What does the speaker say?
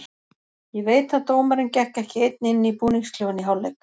Ég veit að dómarinn gekk ekki einn inn í búningsklefann í hálfleik.